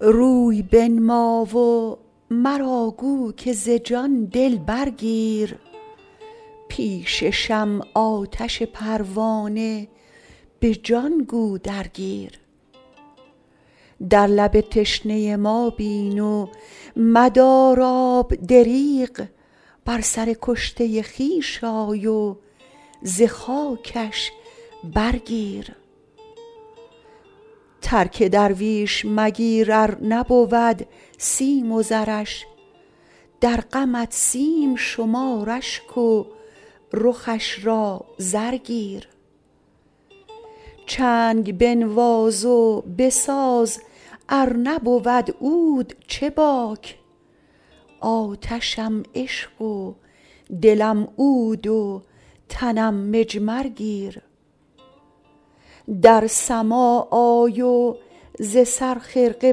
روی بنما و مرا گو که ز جان دل برگیر پیش شمع آتش پروانه به جان گو درگیر در لب تشنه ما بین و مدار آب دریغ بر سر کشته خویش آی و ز خاکش برگیر ترک درویش مگیر ار نبود سیم و زرش در غمت سیم شمار اشک و رخش را زر گیر چنگ بنواز و بساز ار نبود عود چه باک آتشم عشق و دلم عود و تنم مجمر گیر در سماع آی و ز سر خرقه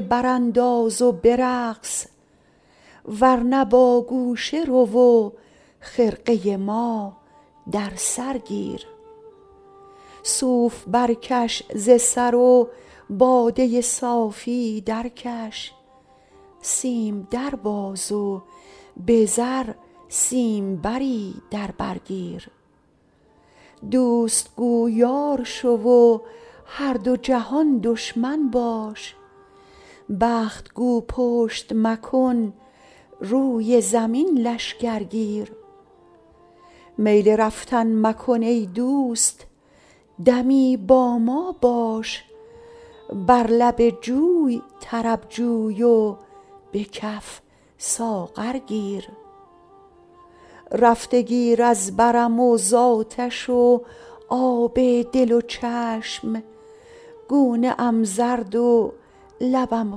برانداز و برقص ور نه با گوشه رو و خرقه ما در سر گیر صوف برکش ز سر و باده صافی درکش سیم در باز و به زر سیمبری در بر گیر دوست گو یار شو و هر دو جهان دشمن باش بخت گو پشت مکن روی زمین لشکر گیر میل رفتن مکن ای دوست دمی با ما باش بر لب جوی طرب جوی و به کف ساغر گیر رفته گیر از برم و زآتش و آب دل و چشم گونه ام زرد و لبم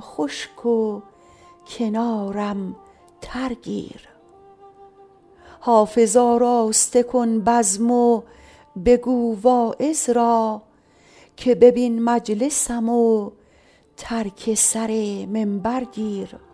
خشک و کنارم تر گیر حافظ آراسته کن بزم و بگو واعظ را که ببین مجلسم و ترک سر منبر گیر